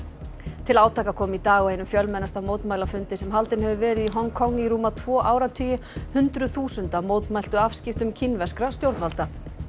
til átaka kom í dag á einum fjölmennasta mótmælafundi sem haldinn hefur verið í Hong Kong í rúma tvo áratugi hundruð þúsunda mótmæltu afskiptum kínverskra stjórnvalda